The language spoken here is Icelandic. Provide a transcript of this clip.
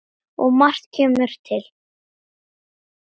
Og margt kemur til.